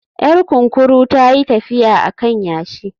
Yar kunkuru ta yi tafiya a kan yashi